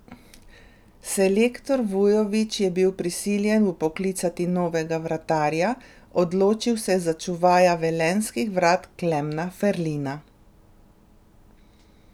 Selektor Vujović je bil prisiljen vpoklicati novega vratarja, odločil se je za čuvaja velenjskih vrat Klemna Ferlina.